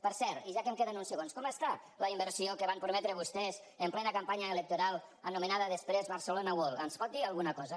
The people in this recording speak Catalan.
per cert i ja que em queden uns segons com està la inversió que van prometre vostès en plena campanya electoral anomenada després barcelona world ens en pot dir alguna cosa